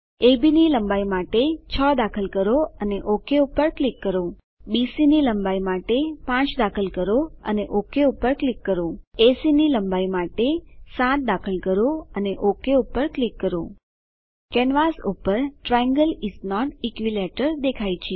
અબ ની લંબાઈ માટે 6 દાખલ કરો અને ઓક પર ક્લિક કરો બીસી ની લંબાઈ માટે 5 દાખલ કરો અને ઓક પર ક્લિક કરો એસી ની લંબાઈ માટે 7 દાખલ કરો અને ઓક પર ક્લિક કરો કેનવાસ પર ટ્રાયેંગલ ઇસ નોટ ઇક્વિલેટરલ દેખાય છે